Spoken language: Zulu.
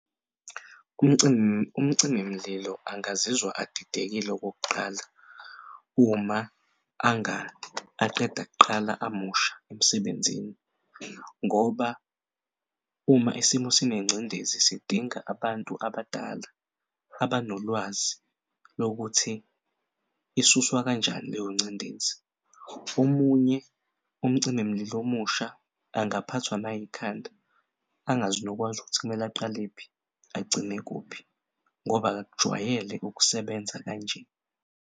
Umcimi mlilo angazizwa adidekile okokuqala uma aqeda kuqala amusha emsebenzini ngoba uma isimo sinengcindezi sidinga abantu abadala abanolwazi lokuthi isuswa kanjani leyo ngcindezi. Omunye umcimi mlilo omusha engaphathwa nayikhanda angazi nokwazi ukuthi kumele aqalephi agcine kuphi ngoba akakujwayele ukusebenza kanje.